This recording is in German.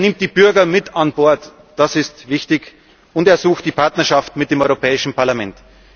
hat. Er nimmt die Bürger mit an Bord das ist wichtig und er sucht die Partnerschaft mit dem Europäischen Parlament.